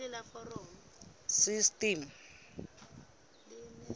system